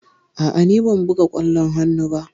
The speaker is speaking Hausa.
A'a, ni ban buga ƙwallon hannu ba.